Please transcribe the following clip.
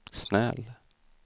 snäll